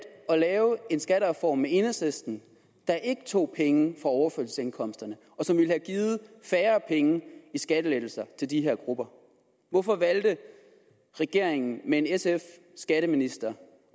at lave en skattereform med enhedslisten der ikke tog penge fra på overførselsindkomster og som ville have givet færre penge i skattelettelser til de her grupper hvorfor valgte regeringen med en sf skatteminister